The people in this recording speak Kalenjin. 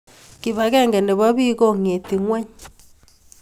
KIPAKENGE nebo bik ko ngeti ngony